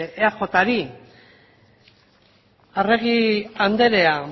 eajri arregi andrea